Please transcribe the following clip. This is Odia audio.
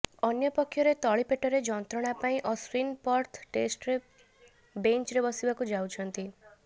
ଅନ୍ୟପକ୍ଷରେ ତଳିପେଟରେ ଯନ୍ତ୍ରଣା ପାଇଁ ଅଶ୍ବିନ ପର୍ଥ ଟେଷ୍ଟରେ ବେଞ୍ଚରେ ବସିବାକୁ ଯାଉଛନ୍ତି